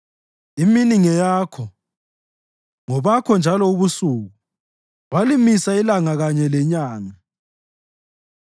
Imini ngeyakho, ngobakho njalo lobusuku; walimisa ilanga kanye lenyanga.